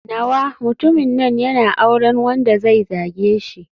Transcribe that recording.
Nawa mutumin nan yana auren wanda zai zage shi.